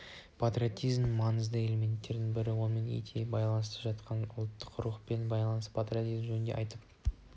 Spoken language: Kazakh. патриотизмнің маңызды элементтерінің бірі онымен етене байланысып жатқан ұлттық рух пен ұлттық патриотизм жөнінде айтып